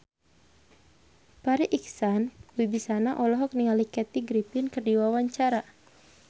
Farri Icksan Wibisana olohok ningali Kathy Griffin keur diwawancara